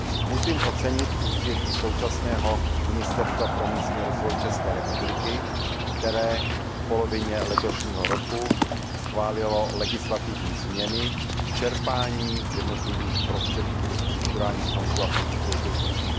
Musím ocenit úsilí současného Ministerstva pro místní rozvoj České republiky, které v polovině letošního roku schválilo legislativní změny k čerpání jednotlivých prostředků ze strukturálních fondů a Fondu soudržnosti.